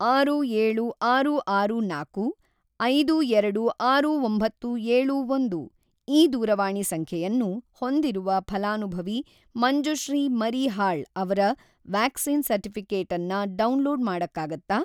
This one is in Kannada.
ಆರು ಏಳು ಆರು ಆರು ನಾಲ್ಕು ಐದು ಎರಡು ಆರು ಒಂಬತ್ತು ಏಳು ಒಂದು ಈ ದೂರವಾಣಿ ಸಂಖ್ಯೆಯನ್ನು ಹೊಂದಿರುವ ಫಲಾನುಭವಿ ಮಂಜುಶ್ರೀ ಮರೀಹಾಳ್ ಅವ್ರ ವ್ಯಾಕ್ಸಿನ್ ಸರ್ಟಿಫಿ಼ಕೇಟನ್ನ ಡೌನ್‌ಲೋಡ್‌ ಮಾಡಕ್ಕಾಗತ್ತಾ?